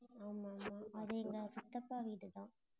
ஆமா ஆமா அது எங்க சித்தப்பா வீடுதான்.